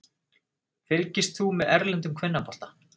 Fylgist þú með erlendum kvennafótbolta?